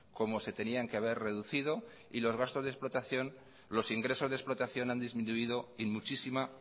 como se tenían que haber reducido y los ingresos de explotación han disminuido en muchísima